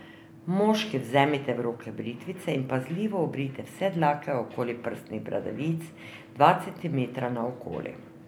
Moški vzemite v roke britvico in pazljivo obrijte vse dlake okoli prsnih bradavic, dva centimetra naokoli.